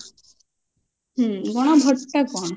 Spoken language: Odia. ହୁଁ ଗଣ vote ଟା କଣ